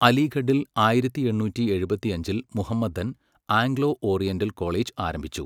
അലിഘഡിൽ ആയിരത്തി എണ്ണൂറ്റി എഴുപത്തിയഞ്ചിൽ മുഹമ്മദൻ ആംഗ്ലോ ഓറിയന്റൽ കോളേജ് ആരംഭിച്ചു.